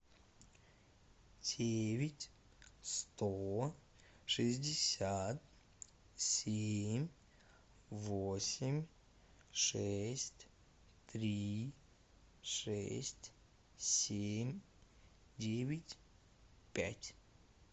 девять сто шестьдесят семь восемь шесть три шесть семь девять пять